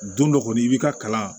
Don dɔ kɔni i bi ka kalan